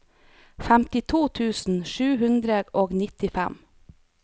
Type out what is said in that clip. femtito tusen sju hundre og nittifem